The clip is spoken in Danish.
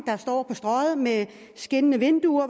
på strøget med skinnende vinduer